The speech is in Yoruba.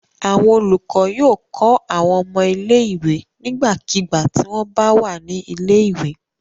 Àwọn olùkọ́ yóò kọ́ àwọn ọmọ ilé-ìwé nígbàkigbà tí wọ́n bà wà ní ilé-ìwé.